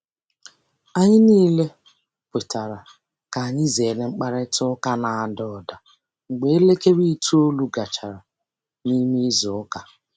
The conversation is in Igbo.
Anyị niile kwetara ka anyị zere mkparịta ụka na-ada ụda mgbe elekere itoolu gachara. n'ịme izu ụka.